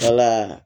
Wala